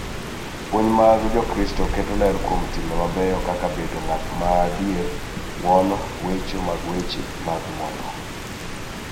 Puonj mag Jokristo keto ler kuom timbe mabeyo kaka bedo ng�at ma adier, ng�uono, wecho mag weche mag ng�uono,